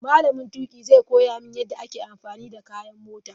Malamin tuƙi zai koya mini yadda ake amfani da kayan mota.